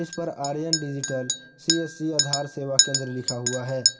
इसपर Aryan digital C S C Aadhaar सेवा केंद्र लिखा हुआ है।